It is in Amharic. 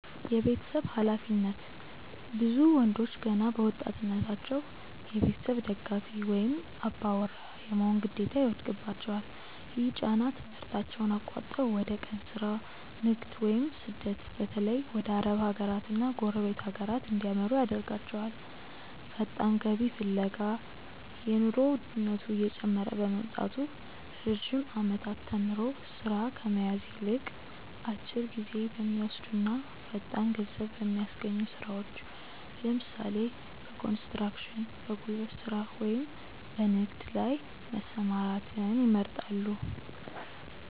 የቤተሰብ ኃላፊነት፦ ብዙ ወንዶች ገና በወጣትነታቸው የቤተሰብ ደጋፊ ወይም "አባወራ" የመሆን ግዴታ ይወድቅባቸዋል። ይህ ጫና ትምህርታቸውን አቋርጠው ወደ የቀን ሥራ፣ ንግድ ወይም ስደት (በተለይ ወደ አረብ ሀገራትና ጎረቤት ሀገራት) እንዲያመሩ ያደርጋቸዋል። ፈጣን ገቢ ፍለጋ፦ የኑሮ ውድነቱ እየጨመረ በመምጣቱ፣ ረጅም ዓመታት ተምሮ ሥራ ከመያዝ ይልቅ፣ አጭር ጊዜ በሚወስዱና ፈጣን ገንዘብ በሚያስገኙ ሥራዎች (ለምሳሌ፦ በኮንስትራክሽን፣ በጉልበት ሥራ ወይም በንግድ) ላይ መሰማራትን ይመርጣሉ።